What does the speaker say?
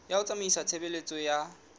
ya ho tsamaisa tshebeletso ya